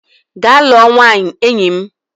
Gaa lụọ nwaanyị enyi m!